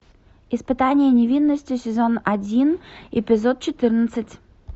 испытание невинностью сезон один эпизод четырнадцать